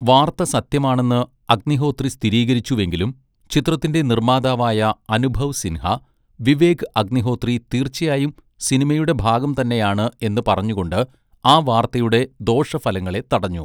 വാർത്ത സത്യമാണെന്ന് അഗ്നിഹോത്രി സ്ഥിരീകരിച്ചുവെങ്കിലും, ചിത്രത്തിൻ്റെ നിർമ്മാതാവായ അനുഭവ് സിൻഹ, വിവേക് അഗ്നിഹോത്രി തീർച്ചയായും സിനിമയുടെ ഭാഗം തന്നെയാണ് എന്ന് പറഞ്ഞുകൊണ്ട് ആ വാർത്തയുടെ ദോഷഫലങ്ങളെ തടഞ്ഞു.